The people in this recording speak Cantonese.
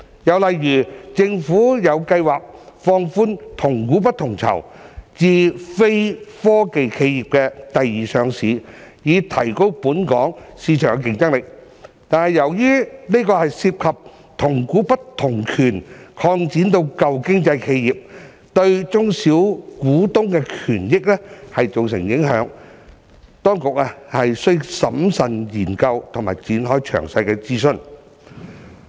又例如，政府有計劃放寬"同股不同權"至非科技企業第二上市，以提高本港市場競爭力，但由於這涉及將"同股不同權"擴展至"舊經濟"企業，對小股東的權益造成影響，當局需審慎研究並展開詳細諮詢。